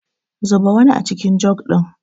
Zuba wani acikin jug ɗin.